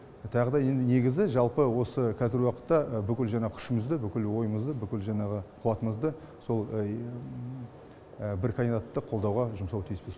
тағыда енді негізі жалпы осы қазіргі уақытта бүкіл жаңағы күшімізді бүкіл ойымызды бүкіл жаңағы қуатымызды сол бір кандидатты қолдауға жұмсау тиіспіз